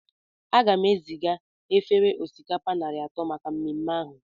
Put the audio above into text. Aga m eziga efere osikapa narị atọ maka mmemme ahụ